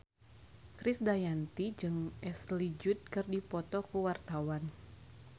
Krisdayanti jeung Ashley Judd keur dipoto ku wartawan